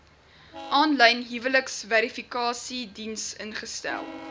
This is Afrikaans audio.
aanlyn huwelikverifikasiediens ingestel